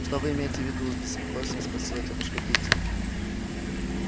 что вы имеете в виду с беспокойством спросила тётушка питти